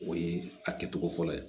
O ye a kɛcogo fɔlɔ ye